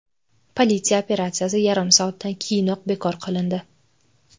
Politsiya operatsiyasi yarim soatdan keyinoq bekor qilindi.